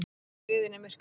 Þær skriðu inn í myrkrið.